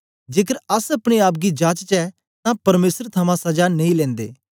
जेकर अस अपने आप गी जाचचै तां परमेसर थमां सजा नेई लिंदे